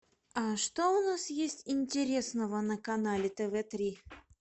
а что у нас есть интересного на канале тв три